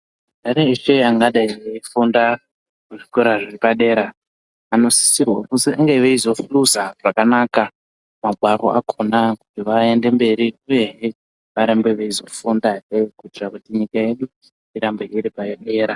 Antani eshe angadai eifunda muzvikora zvepadera anosisirwa kuzi ange eizohluza zvakanaka, magwaro akhona, kuti vaende mberi uyehe varambe veizofundahe, kuitira kuti nyika yedu, irambe iri padera.